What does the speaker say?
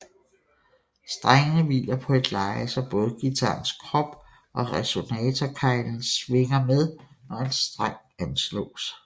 Strengene hviler på et leje så både guitarens krop og resonatorkeglen svinger med når en streng ansloåes